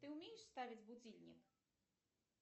ты умеешь ставить будильник